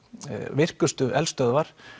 virkustu eldstöðvar